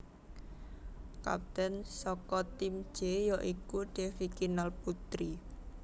Kapten saka Tim J ya iku Devi Kinal Putri